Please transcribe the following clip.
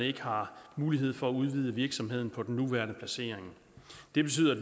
ikke har mulighed for at udvide virksomheden på den nuværende placering det betyder at